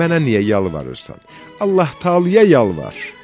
Mənə niyə yalvarırsan, Allah-Taalaya yalvar!